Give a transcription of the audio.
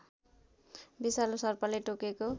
विषालु सर्पले टोकेको